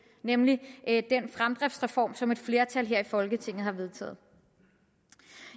nemlig den fremdriftsreform som et flertal her i folketinget har vedtaget